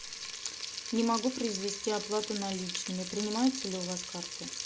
не могу произвести оплату наличными принимаются ли у вас карты